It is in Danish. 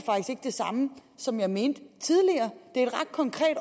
ikke det samme som jeg mente tidligere det